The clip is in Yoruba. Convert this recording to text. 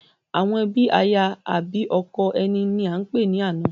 Àwọn ẹbí aya àbi ọkọ ẹni ní a ń pè ní àna